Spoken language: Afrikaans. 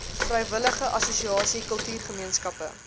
vrywillige assosiasie kultuurgemeenskappe